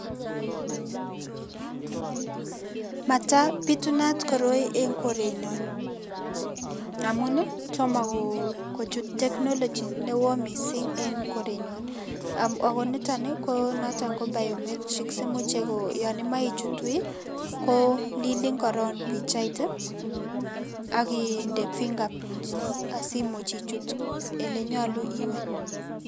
Matapitunat koroi en korenyon amun tomo kochut technology newo mising en korenyon. Ago niton ko biometric si yon imoche ichut wui kolilin korong' pichait oginde fingerprints asimuch ichut olenyolu iwe.